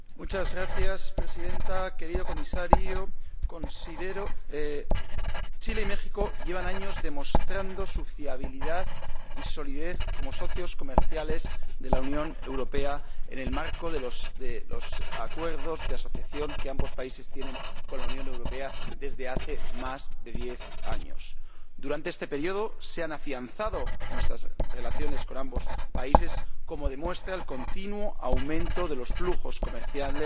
Señora Presidenta, querido Comisario, Chile y México llevan años demostrando su fiabilidad y solidez como socios comerciales de la Unión Europea en el marco de los acuerdos de asociación que ambos países tienen con la Unión desde hace más de diez años. Durante este período se han afianzado nuestras relaciones con ambos países, como demuestra el continuo aumento de los flujos comerciales